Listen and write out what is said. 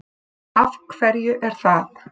Af hverju er það?